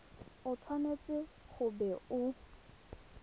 o tshwanetse go bo o